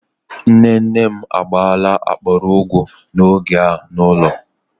Nne nne m agaala akpara ugu n'oge a n'ulo